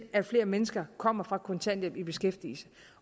at flere mennesker kommer fra kontanthjælp og i beskæftigelse